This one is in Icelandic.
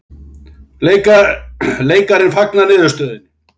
Leikarinn fagnar niðurstöðunni